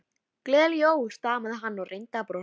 Gleðileg jól stamaði hann og reyndi að brosa.